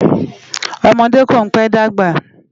Òmòdé kó n pè dágbá